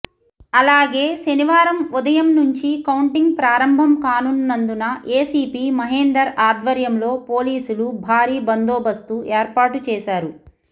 అలాగే శనివారం ఉదయం నుంచి కౌంటింగ్ ప్రారంభం కానున్నందున ఏసీపీ మహేందర్ ఆధ్వర్యంలో పోలీసులు భారీ బందోబస్తు ఏర్పాటు చేశారు